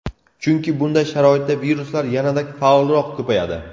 Chunki bunday sharoitda viruslar yanada faolroq ko‘payadi.